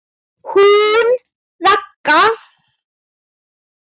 Hún Ragga?